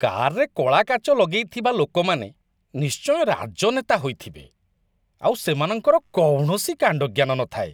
କାର୍‌ରେ କଳା କାଚ ଲଗେଇଥିବା ଲୋକମାନେ ନିଶ୍ଚୟ ରାଜନେତା ହୋଇଥିବେ ଆଉ ସେମାନଙ୍କର କୌଣସି କାଣ୍ଡଜ୍ଞାନ ନଥାଏ।